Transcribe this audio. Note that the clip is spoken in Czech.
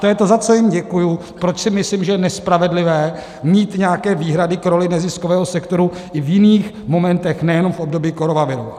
To je to, za co jim děkuju, proč si myslím, že je nespravedlivé mít nějaké výhrady k roli neziskového sektoru i v jiných momentech, nejenom v období koronaviru.